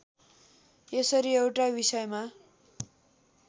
यसरी एउटा विषयमा